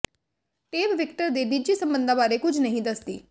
tape Victor ਦੇ ਨਿੱਜੀ ਸਬੰਧਾਂ ਬਾਰੇ ਕੁਝ ਨਹੀਂ ਦੱਸਦੀ